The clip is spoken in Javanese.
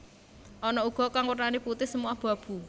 Ana uga kang wernané putih semu abu abu